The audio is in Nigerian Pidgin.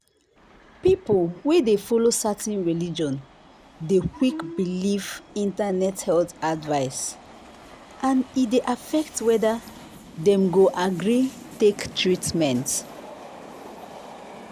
people wey dey follow certain religion dey quick believe internet health advice and e dey affect whether dem go agree take treatment.